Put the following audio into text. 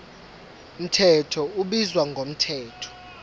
mthetho ubizwa ngomthetho